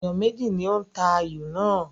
Ènìyàn méjì ni ó ń ta ayò náà